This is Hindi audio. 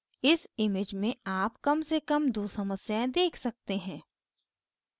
इस image में आप कम से कम दो समस्याएं देख सकते हैं